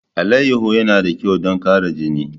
Alayyahu yana da kyau don ƙara jini.